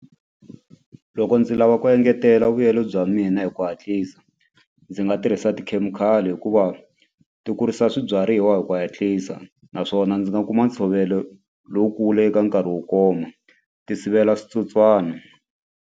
Loko ndzi lava ku engetela vuyelo bya mina hi ku hatlisa ndzi nga tirhisa tikhemikhali hikuva ti kurisa swibyariwa hi ku hatlisa naswona ndzi nga kuma ntshovelo lowukulu eka nkarhi wo koma ti sivela switsotswana.